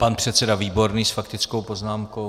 Pan předseda Výborný s faktickou poznámkou.